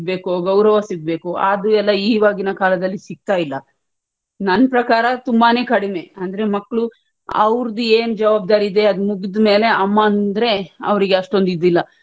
ಗೌರವ ಸಿಗ್ಬೇಕೋ ಅದು ಈವಾಗಿನ ಕಾಲದಲ್ಲಿ ಸಿಕ್ತಾ ಇಲ್ಲಾ ನನ್ ಪ್ರಕಾರ ತುಂಬಾನೇ ಕಡಿಮೆ ಅಂದ್ರೆ ಮಕ್ಳು ಅವ್ರುದು ಏನ್ ಜವಾಬ್ದಾರಿ ಇದೆ ಅದು ಮುಗಿದ್ ಮೇಲೆ ಅಮ್ಮ ಅಂದ್ರೆ ಅವರಿಗೆ ಅಷ್ಟೊಂದು ಇದಿಲ್ಲಾ.